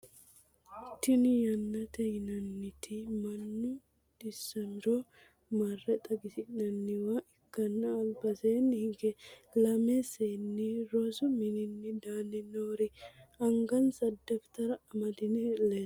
tini yaaneeti yinanniti mannu dhissamiro mare xagisirannowa ikkanna albaseeni hige lamme seeni rosu mininni danni noori angansa dafitara amadinori leellanno.